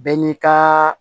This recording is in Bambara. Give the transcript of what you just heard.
Bɛɛ n'i ka